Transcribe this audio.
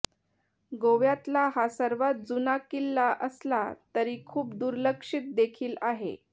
गोव्यातला हा सर्वात जुना किल्ला असला तरी खूप दुर्लक्षित देखील आहे